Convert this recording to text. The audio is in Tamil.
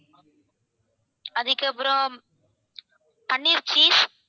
அதுக்கப்பறம் paneer cheese